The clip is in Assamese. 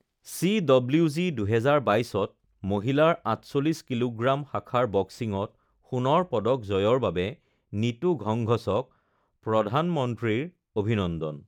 চিডব্লিউজি ২০২২ ত মহিলাৰ ৪৮ কিলোগ্ৰাম শাখাৰ বক্সিংত সোণৰ পদক জয়ৰ বাবে নীতু ঘংঘছক প্ৰধানমন্ত্ৰীৰ অভিনন্দন